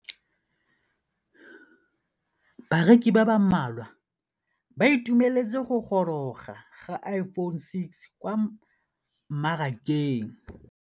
Bareki ba ba malwa ba ituemeletse go gôrôga ga Iphone6 kwa mmarakeng.